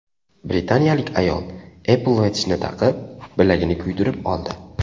Britaniyalik ayol Apple Watch’ni taqib, bilagini kuydirib oldi.